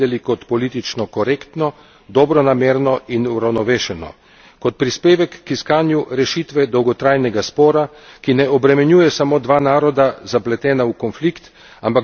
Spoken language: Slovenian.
Kot prispevek k iskanju rešitve dolgotrajnega spora, ki ne obremenjuje samo dva naroda, zapletena v konflikt, ampak vedno znova predstavlja žarišče konflikta, ki ima mnogo širše dimenzije.